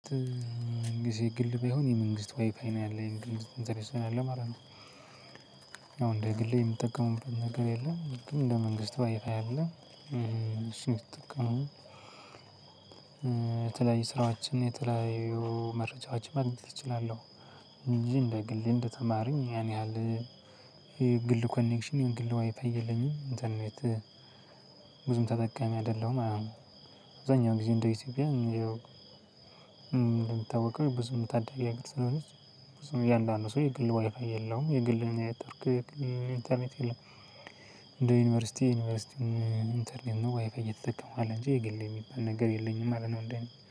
መንግስት ግል ቢሆን የመንግስት ዋይፋይ ነው ያለኝ እንትን ስለለ ማለት ነው። አሁን እንደ ግሌ የምጠቀመው ነገር የለም። ግን ለመንግስት ዋይፋይ አያለም እሱን የተጠቀመው የተለያዩ ስራዎችን የተለያዩ መረጃዎችን ማግኘት እችላለሁ። እንጂ እንደ ግልህ እንደተማረኝ ያን ያህል የግል ኮኔክሽን የግል ዋይፋይ የለኝም። ኢንተርኔት ብዙም ተጠቃሚ አይደለሁም። አዎ። አብዛኛው ጊዜ እንደ ኢትዮጵያ እንደሚታወቀው ብዙም ታዳጊ ሀገር ስለሆነች ብዙም እያንዳንዱ ሰው የግል ዋይፋይ የለውም። የግል እኔ ኢንተርኔት እንደ ዩኒቨርሲቲ ዩኒቨርሲቲ ኢንተርኔትግ ነው። ዋይፋይ እየተጠቀምኩ አለ እንጂ የግል የሚባል ነገር የለኝም። አለ ነው እንደ